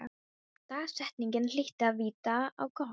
Dagsetningin hlyti að vita á gott.